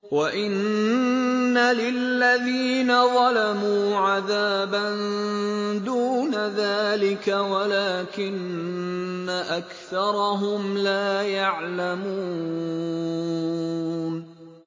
وَإِنَّ لِلَّذِينَ ظَلَمُوا عَذَابًا دُونَ ذَٰلِكَ وَلَٰكِنَّ أَكْثَرَهُمْ لَا يَعْلَمُونَ